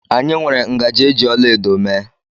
Anyị nwere ngaji eji ọlaedo mee